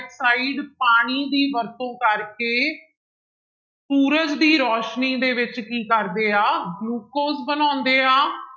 oxide ਪਾਣੀ ਦੀ ਵਰਤੋਂ ਕਰਕੇ ਸੂਰਜ ਦੀ ਰੌਸ਼ਨੀ ਦੇ ਵਿੱਚ ਕੀ ਕਰਦੇ ਆ ਗਲੂਕੋਜ ਬਣਾਉਂਦੇ ਆ